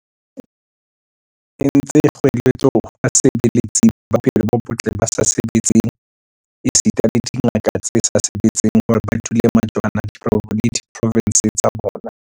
entse kgoeletso ho basebeletsi ba bophelo bo botle ba sa sebetseng esita le dingaka tse sa sebetseng hore ba dule majwana le diprovense tsa bona.